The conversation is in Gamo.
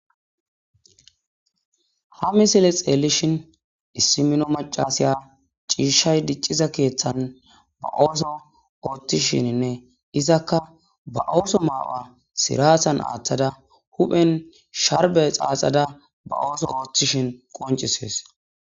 Ha misile xeellishin issi mino macasiya ciishshay dicciza keeththan ba ooso ooththishininne izakka ba ooso maawa sirasan aaththada huphen sharbe xaaxada ba ooso ooththishin qoncisees.